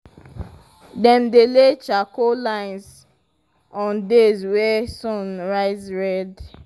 dem dey lay charcoal lines on days wey sun rise red.